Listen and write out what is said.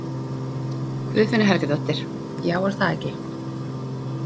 Guðfinna Helgadóttir: Já, er það ekki?